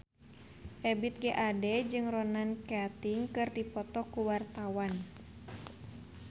Ebith G. Ade jeung Ronan Keating keur dipoto ku wartawan